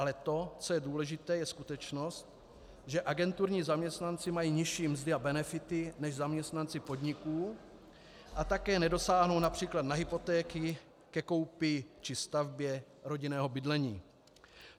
Ale to, co je důležité, je skutečnost, že agenturní zaměstnanci mají nižší mzdy a benefity než zaměstnanci podniků a také nedosáhnou například na hypotéky ke koupi či stavbě rodinného bydlení.